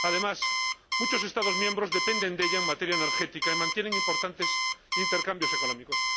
Además, muchos Estados miembros dependen de ella en materia energética y mantienen con ella importantes intercambios económicos.